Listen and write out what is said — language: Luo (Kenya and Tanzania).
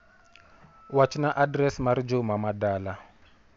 Wach na adres mar Juma ma dala.